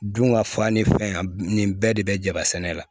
Dun ka fa ni fɛn nin bɛɛ de bɛ jaba sɛnɛ la